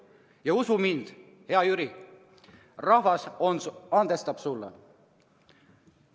Ja usu mind, hea Jüri, rahvas andestab sulle.